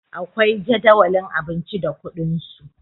akwai Jadawalin abinci da kuɗinsu